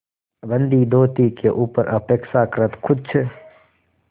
गंदी धोती के ऊपर अपेक्षाकृत कुछ